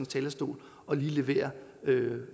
talerstol og lige levere